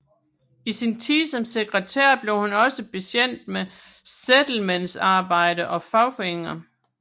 I sin tid som sekretær blev hun også bekendt med Settlementsarbejde og fagforeninger